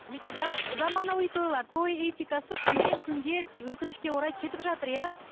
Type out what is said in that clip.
заманауи тойлар той этикасы күннен күнге өкінішке орай кетіп жатыр иә